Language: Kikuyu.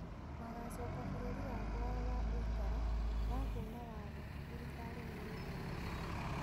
Magacoka bũrũri wa kwao wa ũikara wakuna watho, thiriikari niyaugire